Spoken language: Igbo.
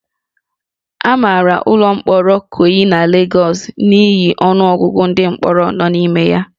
A mara ụlọ mkpọrọ Ikoyi na Lagos n'ihi ọnụ ọgụgụ ndị mkpọrọ nọ n'ime ya